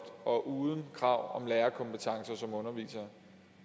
og uden krav til underviserne